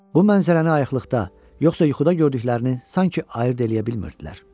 Bu mənzərəni ayıqlıqda, yoxsa yuxuda gördüklərini sanki ayırd edə bilmirdilər.